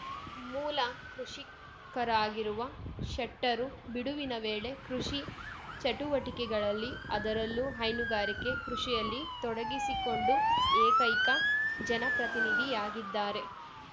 ಮೂಲ ಕೃಷಿಕರಾಗಿರುವ ಶೆಟ್ಟರು ಬಿಡುವಿನ ವೇಳೆ ಕೃಷಿ ಚಟುವಟೆಕೆಗಳಲ್ಲಿ ಅದರಲ್ಲೂ ಹೈನುಗಾರಿಕೆ ಕೃಷಿಯಲ್ಲಿ ತೊಡಗಿಸಿಕೊಂಡು ಏಕೈಕ ಜನಪ್ರತಿನಿಧಿಯಾಗಿದ್ದಾರೆ